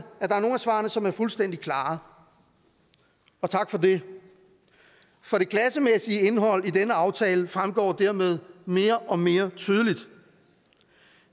svarene som er fuldstændig klare og tak for det for det klassemæssige indhold i den aftale fremgår dermed mere og mere tydeligt